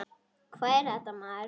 Hvað er þetta maður?